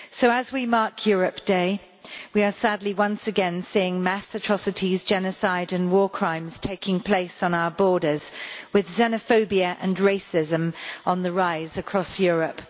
As we mark Europe Day, we are sadly once again seeing mass atrocities, genocide and war crimes taking place on our borders, with xenophobia and racism on the rise across Europe.